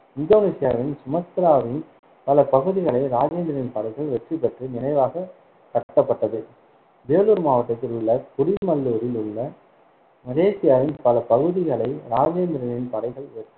இந்தோனேசியாவின் சுமத்ராவின் பல பகுதிகளை ராஜேந்திரனின் படைகள் வெற்றி பெற்று நினைவாக கட்டப்பட்டது. வேலூர் மாவட்டத்தில் உள்ள குடிமல்லூரில் உள்ள மலேசியாவின் பல பகுதிகளை ராஜேந்திரனின் படைகள்